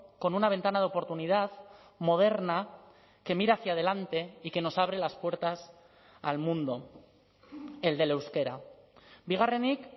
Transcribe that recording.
con una ventana de oportunidad moderna que mira hacia adelante y que nos abre las puertas al mundo el del euskera bigarrenik